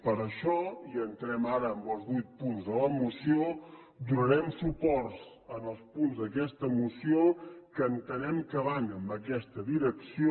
per això i entrem ara en els vuit punts de la moció donarem suport als punts d’aquesta moció que entenem que van en aquesta direcció